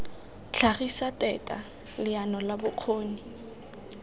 tlhagisetsa teta leano la bokgoni